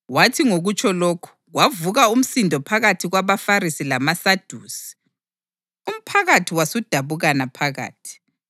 Wathi ngokutsho lokhu, kwavuka umsindo phakathi kwabaFarisi lamaSadusi, umphakathi wasudabukana phakathi.